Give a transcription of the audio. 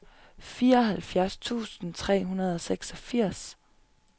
fireoghalvfjerds tusind tre hundrede og seksogfirs